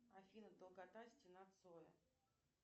афина долгота стена цоя